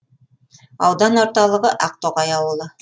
аудан орталығы ақтоғай ауылы